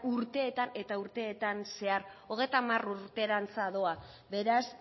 urteetan eta urteetan zehar hogeita hamar urterantz doa beraz